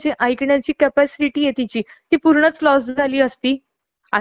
काम म्हणजे त्यांच्या स्वार्थ साठी करतात , पण जो समोरच्याला त्रास होतो तो ते बघत नाहीत.